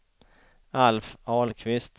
Alf Ahlqvist